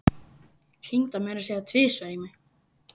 Hringdi meira að segja tvisvar í mig.